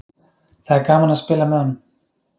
Það er gaman að spila með honum.